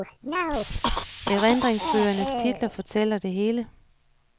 Erindringsbøgernes titler fortæller det hele.